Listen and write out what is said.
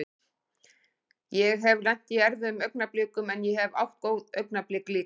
Ég hef lent í erfiðum augnablikum en ég hef átt góð augnablik líka.